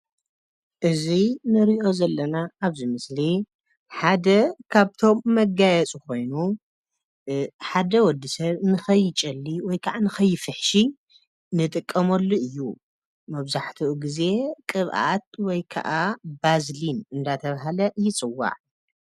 እዚ ንሪኦ ዘለና ኣብዚ ምስሊ ሓደ ካብቶም መጋየፂ ኮይኑ ሓደ ወዲ ሰብ ንከይጨሊ ወይ ከዓ ንከይፍሕሺ ንጥቀመሉ እዩ መብዛሕተኡ ግዘ ቅብኣት ወይ ከዓ ባዝሊን እንዳ ተብሃለ ይጸዋዕ።